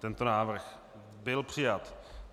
Tento návrh byl přijat.